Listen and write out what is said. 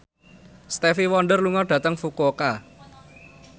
Stevie Wonder lunga dhateng Fukuoka